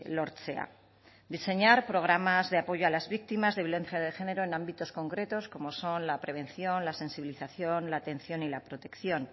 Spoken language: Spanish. lortzea diseñar programas de apoyo a las víctimas de violencia de género en ámbitos concretos como son la prevención la sensibilización la atención y la protección